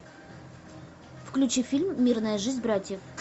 включи фильм мирная жизнь братьев